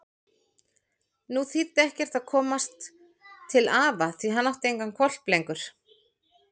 Nú þýddi ekkert að komast til afa því hann átti engan hvolp lengur.